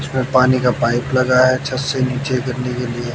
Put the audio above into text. इसमें पानी का पाइप लगा है छत से नीचे गिरने के लिए।